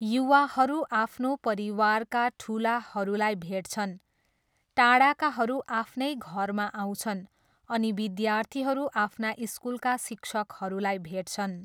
युवाहरू आफ्नो परिवारका ठुलाहरूलाई भेट्छन्, टाढाकाहरू आफ्नै घरमा आउँछन्, अनि विद्यार्थीहरू आफ्ना स्कुलका शिक्षकहरूलाई भेट्छन्।